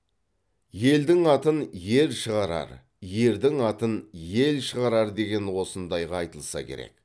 елдің атын ер шығарар ердің атын ел шығарар деген осындайға айтылса керек